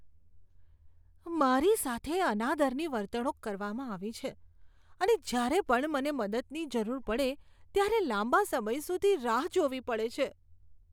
મારી સાથે અનાદરની વર્તણૂક કરવામાં આવી છે અને જ્યારે પણ મને મદદની જરૂર પડે ત્યારે લાંબા સમય સુધી રાહ જોવી પડે છે.